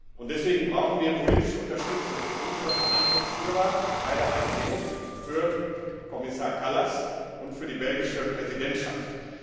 Und deshalb brauchen wir politische Unterstützung für unsere Verhandlungsführer bei der ICAO für Kommissar Kallas und für die belgische Präsidentschaft.